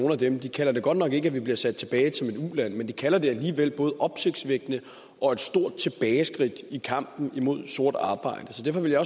nogle af dem de kalder det godt nok ikke at vi bliver sat tilbage til et uland men de kalder det alligevel både opsigtsvækkende og et stort tilbageskridt i kampen imod sort arbejde så derfor vil jeg